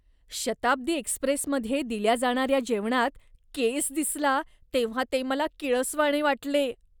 शताब्दी एक्स्प्रेसमध्ये दिल्या जाणार्या जेवणात केस दिसला तेव्हा ते मला किळसवाणे वाटले.